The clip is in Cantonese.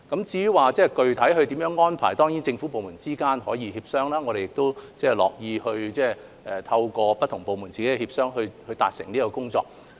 至於具體安排，政府部門之間當然可以協商，我們也樂見不同部門自己協商處理這項工作。